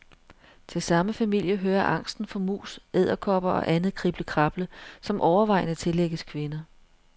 Til samme familie hører angsten for mus, edderkopper og andet kriblekrable, som overvejende tillægges kvinder.